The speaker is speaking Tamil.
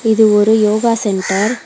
இது ஒரு யோகா சென்டர் .